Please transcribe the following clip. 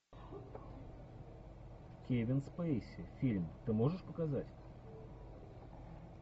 кевин спейси фильм ты можешь показать